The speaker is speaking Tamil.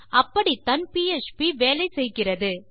அப்படித்தான் பிஎச்பி வேலை செய்கிறது